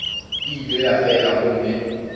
e ile ya fela gomme